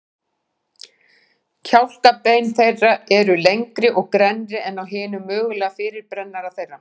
Kjálkabein þeirra eru lengri og grennri en á hinum mögulega fyrirrennara þeirra.